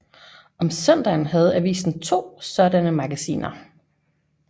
Om søndagen havde avisen to sådanne magasiner